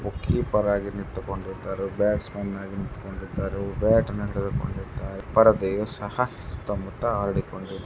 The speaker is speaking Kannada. ಬ್ಯಾಟ್ಸಮನ್ ಆಗಿ ನಿಂತ್ಕೊಂಡಿದ್ದಾರೆ ಬ್ಯಾಟ್ ಹಿಡಿದುಕೊಂಡಿದರೆ ಸಹ ಸುತ್ತ ಮುತ್ತ ಹರಡಿ --